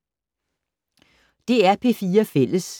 DR P4 Fælles